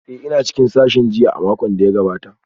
Ee, ina cikin sashin jinya a makon da ya gabata